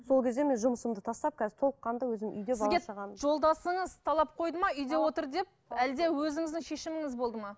сол кезде мен жұмысымды тастап қазір толыққанды өзім үйде бала шағам сізге жолдасыңыз талап қойды ма үйде отыр деп әлде өзіңіздің шешіміңіз болды ма